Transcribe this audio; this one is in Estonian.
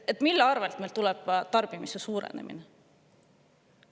Mille tõttu meil tuleb tarbimise suurenemine?